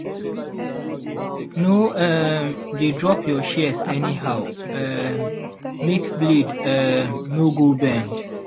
no um dey drop your shears anyhow um make blade um no go bend.